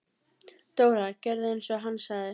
Dóra gerði eins og hann sagði.